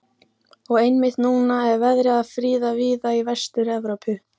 Og einmitt núna er verið að friða víða í Vestur-Evrópu.